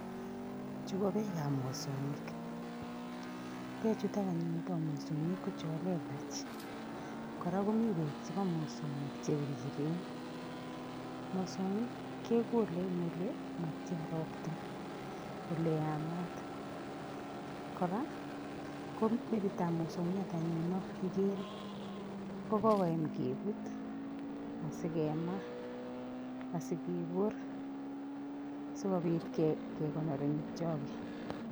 Chuu ko pek ab mosongik, pek chutok anyun bo mosongik ko chon lelech koraa komii beek chebo mosongik che biriren, mosongik kekole en ole matyan ropta ole yamat, koraa ko metik ab mosongiot anyun non ikere kokokoyam kebut asikemaa asikebor asikobit kekonor en choket.